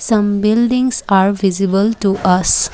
some buildings are visible to us.